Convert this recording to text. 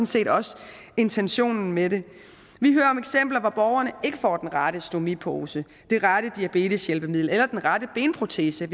set også intentionen med det vi hører om eksempler hvor borgerne ikke får den rette stomipose det rette diabeteshjælpemiddel eller den rette benprotese